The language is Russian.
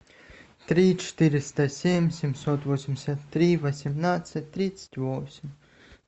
три четыреста семь семьсот восемьдесят три восемнадцать тридцать восемь